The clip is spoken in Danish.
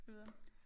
Skal vi gå videre